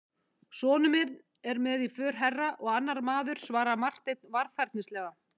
Sonur minn er með í för herra, og annar maður, svaraði Marteinn varfærnislega.